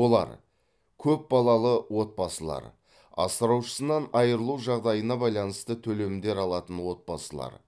олар көпбалалы отбасылар асыраушысынан айрылу жағдайына байланысты төлемдер алатын отбасылар